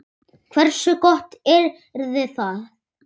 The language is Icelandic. Hversu gott yrði það?